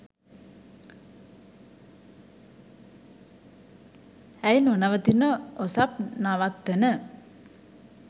ඇයි නොනවතින ඔසප් නවත්තන